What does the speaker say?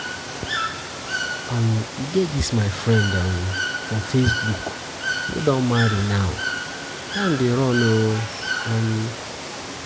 um E get dis my friend um for Facebook wey Don marry now, time dey run oo um